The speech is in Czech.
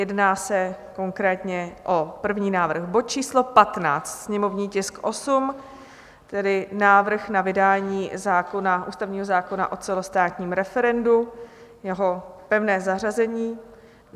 Jedná se konkrétně o první návrh, bod číslo 15, sněmovní tisk 8, tedy návrh na vydání ústavního zákona o celostátním referendu, jeho pevné zařazení.